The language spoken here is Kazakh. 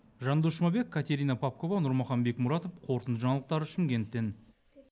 жандос жұмабек катерина попкова нұрмахан бекмұратов қорытынды жаңалықтар шымкенттен